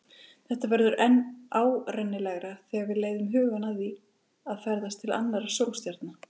Þetta verður enn óárennilegra þegar við leiðum hugann að því að ferðast til annarra sólstjarna.